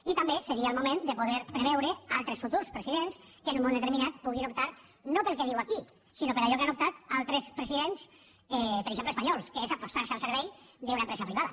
i també seria el moment de poder preveure altres futurs presidents que en un moment determinat puguin optar no pel que diu aquí sinó per allò que han optat altres presidents per exemple espanyols que és apostar se al servei d’una empresa privada